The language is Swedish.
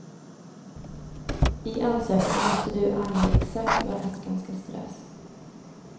I ansökan måste du ange exakt var askan ska strös.